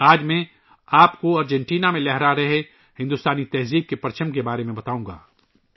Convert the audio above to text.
آج میں آپ کو بتاؤں گا کہ ارجنٹینا میں بھی ہندوستانی ثقافت اپنے نشان چھوڑ رہی ہے